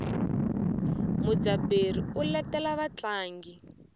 mudzaberi u letela vatlangi